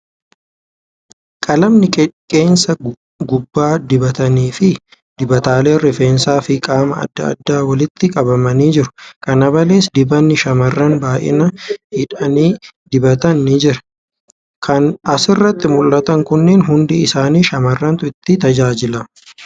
Qalamni qeensa qubaa dibatanii fi dibataaleen rifeensa fi qaamaa adda addaa walitti qabamanii jiru. Kana malees, dibanni shamarran baay'inaa hidhii dibatan ni jira. Kan asirratti mul'atan kunneen hundi isaanii shamarrantu itti tajaajilama.